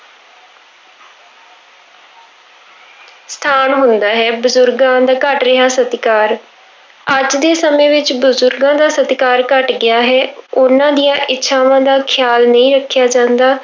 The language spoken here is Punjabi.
ਸਥਾਨ ਹੁੰਦਾ ਹੈ, ਬਜ਼ੁਰਗਾਂ ਦਾ ਘੱਟ ਰਿਹਾ ਸਤਿਕਾਰ, ਅੱਜ ਦੇ ਸਮੇਂ ਵਿੱਚ ਬਜ਼ੁਰਗਾਂ ਦਾ ਸਤਿਕਾਰ ਘੱਟ ਗਿਆ ਹੈ, ਉਹਨਾਂ ਦੀਆਂ ਇੱਛਾਵਾਂ ਦਾ ਖ਼ਿਆਲ ਨਹੀਂ ਰੱਖਿਆ ਜਾਂਦਾ।